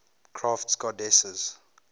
crafts goddesses